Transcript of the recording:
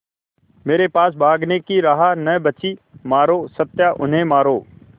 मेरे पास भागने की राह न बची मारो सत्या उन्हें मारो